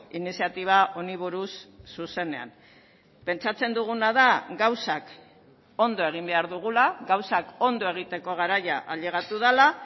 iniziatiba honi buruz zuzenean pentsatzen duguna da gauzak ondo egin behar dugula gauzak ondo egiteko garaia ailegatu dela